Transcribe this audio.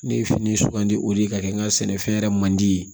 Ne ye fini sugandi o de ye ka kɛ n ka sɛnɛfɛn yɛrɛ man di ye